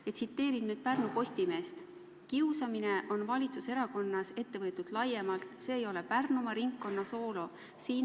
Ma tsiteerin nüüd Pärnu Postimeest: "Kiusamine on valitsuserakonnas ette võetud laiemalt, see ei ole Pärnumaa ringkonna soolo.